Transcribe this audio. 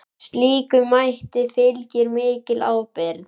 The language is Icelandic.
Slíkum mætti fylgir mikil ábyrgð.